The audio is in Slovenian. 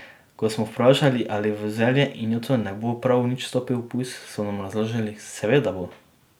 Ko smo vprašali, 'ali v zelje in joto ne bo prav nič stopil pujs', so nam razložili: 'Seveda bo.